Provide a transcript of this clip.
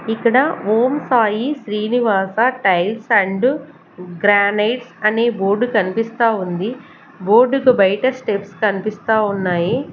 ఇక్కడ Om Sai Srinivasa tiles and granites అనే board కనిపిస్తా ఉంది బోర్డు కు బయట స్టెప్స్ కనిపిస్తా ఉన్నాయి.